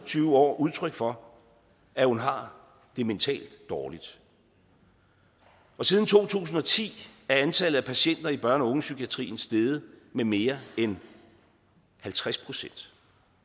tyve år udtryk for at hun har det mentalt dårligt og siden to tusind og ti er antallet af patienter i børne og ungepsykiatrien steget med mere end halvtreds procent